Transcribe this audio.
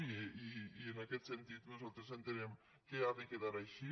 i en aquest sentit nosaltres entenem que ha de quedar així